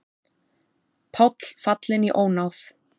Páll fallinn í ónáð